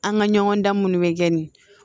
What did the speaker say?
An ka ɲɔgɔn dan munnu be kɛ nin